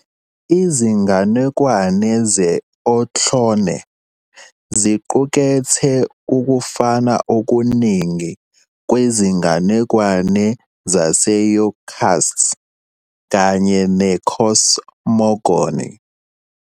Izinganekwane ze-Ohlone ziqukethe ukufana okuningi kwezinganekwane zaseYokuts kanye ne-cosmogony.